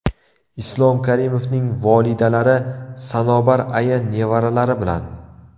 Islom Karimovning volidalari Sanobar aya nevaralari bilan.